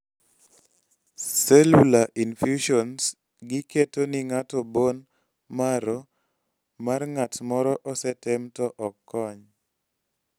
cellular infusions gi ketoni ng'ato bone marrow mar ng'atmoro osetem to ok kony